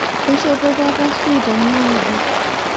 Keishopo papa suut enye ngejuk